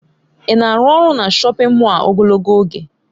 Ị na-arụ ọrụ na shọpin Mọll a ogologo oge?